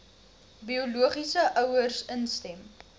biologiese ouers instem